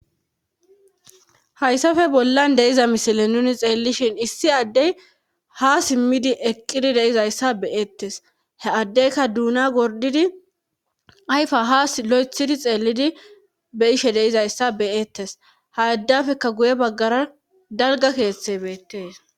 hayssafe bollan de'iza misile nuni xeellishin issi addey ha simmidi eqqidi de'izayssa beyettes he addeyka duuna gordidi ayfa ha lo'ethidi xeellidi be'ishe de'izayssa beyettes ha addafeka guye baggara dalga keeththey beettees